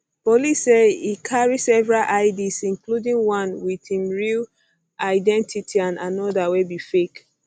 police say e carry several ids um including one wit im real identity and anoda wey be fake